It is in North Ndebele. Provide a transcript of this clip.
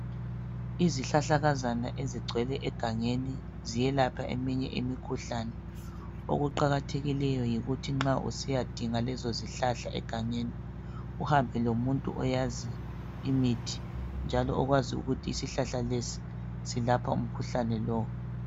Izihlahlakazana ezigcwele egangeni ziyelapha imikhuhlane. Okuqakathekileyo yikuthi nxa usiyadinga lezo zihlahla egangeni uhambe lomuntu oyaziyo imithi njalo okwazi ukuthi isihlahla lesi silapha umkhuhlane lowu.